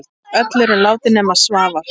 Öll eru látin nema Svavar.